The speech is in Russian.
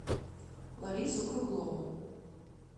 ларису круглову